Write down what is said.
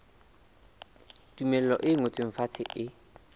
tumello e ngotsweng fatshe e